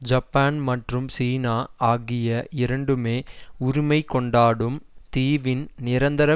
Japan மற்றும் சீனா ஆகிய இரண்டுமே உரிமை கொண்டாடும் தீவின் நிரந்தர